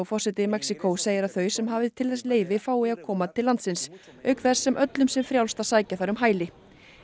forseti Mexíkó segir að þau sem hafi til þess leyfi fái að koma til landsins auk þess sem öllum sé frjálst að sækja þar um hæli